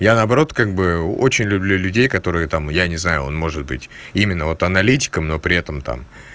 я наоборот как бы очень люблю людей которые там я не знаю он может быть именно вот аналитиком но при этом там